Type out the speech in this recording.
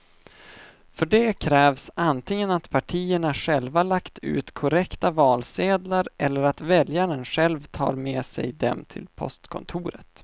För det krävs antingen att partierna själva lagt ut korrekta valsedlar eller att väljaren själv tar med sig dem till postkontoret.